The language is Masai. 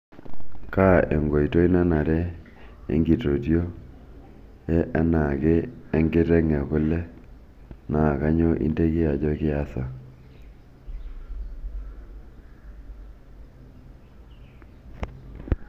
kaa enkoitoi nanare enkitotio e enaake enkiteng e kule naa kanyioo inteki ajo kiasa